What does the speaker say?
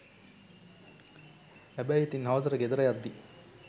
හැබැයි ඉතින් හවසට ගෙදර යද්දී